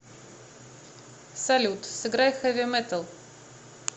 салют сыграй хэви металл